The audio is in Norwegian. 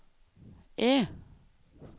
E